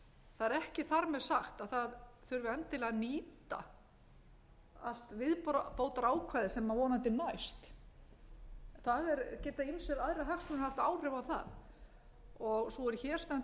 það er ekki þar með sagt að það þurfi endilega að nýta allt viðbótarákvæðið sem vonandi næst það geta ýmsir aðrir hagsmunir haft áhrif á það og sú er hér stendur er alls ekki á